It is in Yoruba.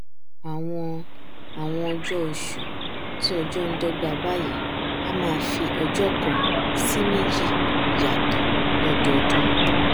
àwọn àwọn ọjọ ọṣù tí ọjọ ndọgba báyìí a máa fi ọjọ kan sí méjì yàtọ lọdọọdún